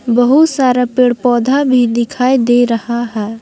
बहुत सारा पेड़ पौधा भी दिखाई दे रहा है।